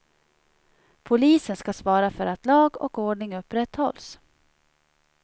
Polisen ska svara för att lag och ordning upprätthålls.